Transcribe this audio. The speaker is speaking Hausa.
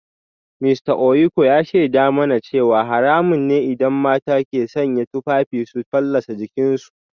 Mista Ohieku ya shaida mana cewa haramun ne idan mata ke sanya tufafi su fallasa jikinsu